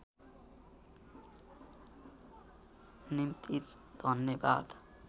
निम्ति धन्यवाद